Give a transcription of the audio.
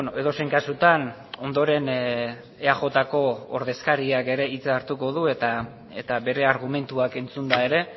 edozein kasutan ondoren eajko ordezkariak ere hitza hartuko du eta bere argumentuak entzunda ere